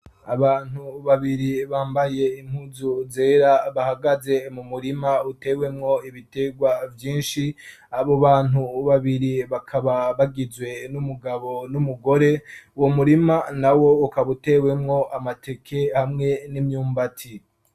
abantu babiri bambaye impuzu zera, bahagaze mu murima utewemwo ibitegwa vyinshi ,abo bantu babiri bakaba bagizwe n'umugabo n'umugore, uwo murima na wo ukaba utewemwo amateke hamwe n'imyumbati.